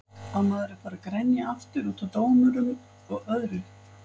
Á maður að fara að grenja aftur útaf dómurum og öðru?